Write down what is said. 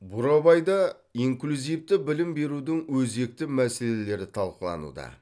бурабайда инклюзивті білім берудің өзекті мәселелері талқылануда